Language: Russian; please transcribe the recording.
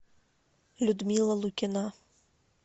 людмила лукина